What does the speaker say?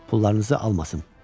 Pullarınızı almasın.